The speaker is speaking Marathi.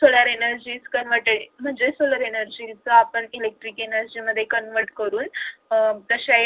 solar energy is converted म्हणजेच solar energy च आपण electrical energy मध्ये convert करून तसे